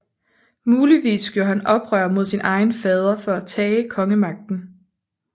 Muligvis gjorde han oprør mod sin egen fader for at tage kongemagten